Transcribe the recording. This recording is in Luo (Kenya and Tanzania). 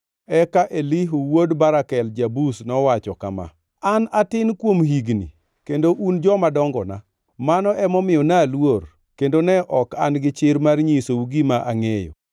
Eka Elihu wuod Barakel ja-Buz nowacho kama: “An atin kuom higni, kendo un joma dongona; mano emomiyo naluor, kendo ne ok an gichir mar nyisou gima angʼeyo.